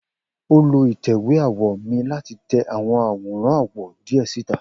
O lo itẹ̀wé awọ mi lati tẹ awọn aworan awọ diẹ sita.